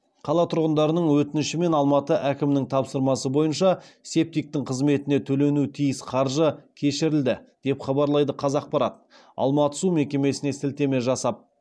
қала тұрғындарының өтініші мен алматы әкімінің тапсырмасы бойынша септиктің қызметіне төленуі тиіс қаржы кешірілді деп хабарлайды қазақпарат алматы су мекемесіне сілтеме жасап